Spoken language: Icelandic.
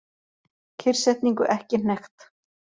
Kyrrsetningu ekki hnekkt